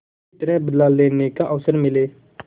किसी तरह बदला लेने का अवसर मिले